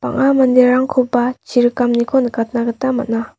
bang·a manderangkoba chirikamniko nikatna gita man·a.